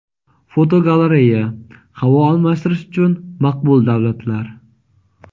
Fotogalereya: Havo almashtirish uchun maqbul davlatlar.